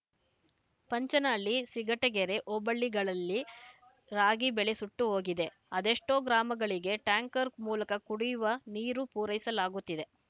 ಪಂಚನಹಳ್ಳಿ ಸಿಂಗಟಗೆರೆ ಹೋಬಳಿಗಳಲ್ಲಿ ರಾಗಿ ಬೆಳೆ ಸುಟ್ಟು ಹೋಗಿದೆ ಅದೆಷ್ಟೋ ಗ್ರಾಮಗಳಿಗೆ ಟ್ಯಾಂಕರ್‌ ಮೂಲಕ ಕುಡಿಯುವ ನೀರು ಪೂರೈಸಲಾಗುತ್ತಿದೆ